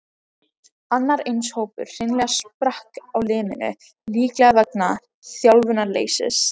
Annar eins hópur hreinlega sprakk á limminu, líklega vegna þjálfunarleysis.